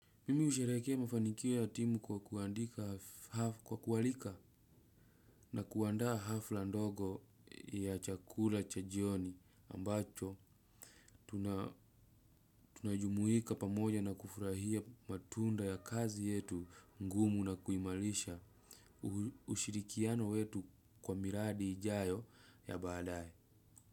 Mimi usherekea mafanikio ya timu kwa kuwalika na kuandaa hafla ndogo ya chakula cha jioni ambacho tunajumuika pamoja na kufurahia matunda ya kazi yetu ngumu na kuimalisha ushirikiano wetu kwa miradi ijayo ya baadaye.